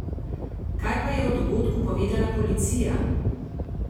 Kaj pa je o dogodku povedala policija?